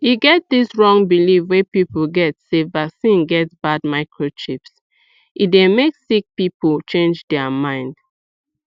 e get dis wrong believe wey people get sey vaccine get bad microchips e dey make sick people change dear mind